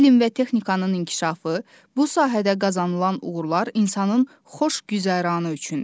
Elm və texnikanın inkişafı, bu sahədə qazanılan uğurlar insanın xoş güzəranı üçündür.